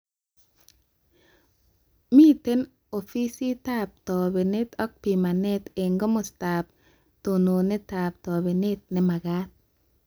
Miten ofisiatab tobenet ak pimanet eng komostaab tununetab tobenet nemagat